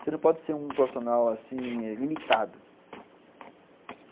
Você não pode ser um profissional, assim, eh... limitado.